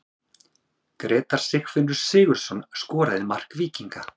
Grétar Sigfinnur Sigurðsson skoraði mark Víkinga.